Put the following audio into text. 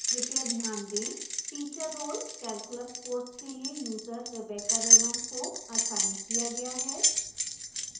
कृपया ध्यान दें teacher role calculus कोर्स के लिए यूजर rebecca raymond को असाइन किया गया है